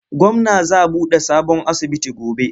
Gwamna za buɗe sabon asibiti gobe.